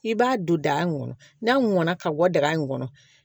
I b'a don daga kɔnɔ n'a mɔnna ka bɔ daga in kɔnɔ